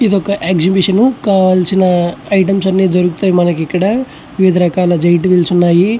ఇది ఒక ఎక్సిబిషన్ కావాల్సిన ఐటమ్స్ అన్ని దొరుకుతాయి మనకి ఇక్కడ. వివిధ రకాల జాయింట్ వీల్స్ ఉన్నాయి.